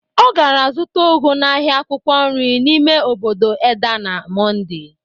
O gara zụta ụgụ n'ahịa akwụkwọ nri n'ime obodo Edda na Monde